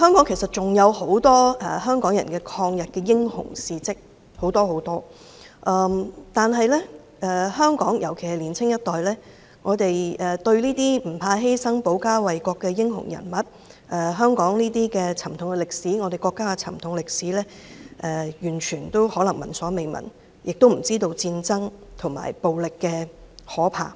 其實，香港還有很多香港人抗日的英雄事跡，但香港人，特別是年輕一代，對這些不怕犧牲、保家衞國的英雄人物，以及香港及國家的沉痛歷史可能聞所未聞，亦不知道戰爭及暴力的可怕。